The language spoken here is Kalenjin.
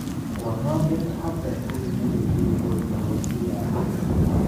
Kwonyotom Habel kokinerekchi ripot nepo CI A